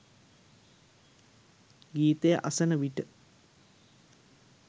ගීතය අසන විට